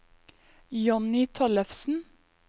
Jonny Tollefsen